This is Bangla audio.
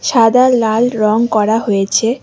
সাদা লাল রং করা হয়েছে।